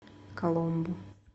коломбу